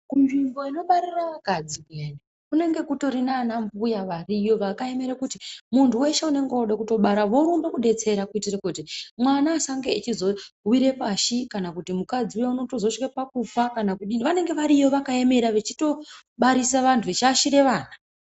Kunzvimbo kunobarira vakadzi kuyani kunenge kutori naana mbuya variyo vakaemere kuti muntu weshe unenge wode kubara vorumbe kubetsera kuitire kuti mwana achazonge achizowire pashi kana kuti mukadzi uya unozotosvike pakufa kana kudii, vanenge variyo vakaemera vechitobatsire vantu vechiyashire vana.